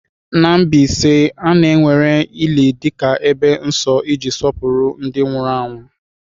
Na Mbaise, a na-ewere ili dị ka ebe nsọ iji sọpụrụ ndị nwụrụ anwụ.